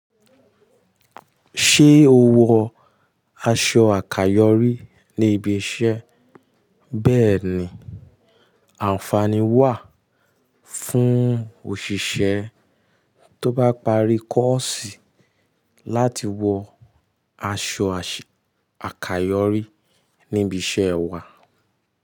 Ṣé o wọ aṣọ àkàyọ́rí ní ibi iṣẹ́? Bẹ́ẹ̀ni, àǹfààní wà fún òṣìṣẹ́ tó bá parí kọ́ọ̀sì láti wọ aso àkàyòré ni ibi isé wa.